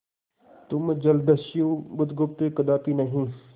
तुम जलदस्यु बुधगुप्त कदापि नहीं